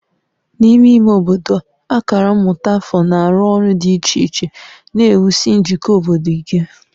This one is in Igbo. N'ime ime obodo, akara mmụta afọ na-arụ ọrụ dị iche iche na-ewusi njikọ obodo ike